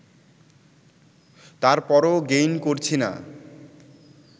তারপরও গেইন করছি না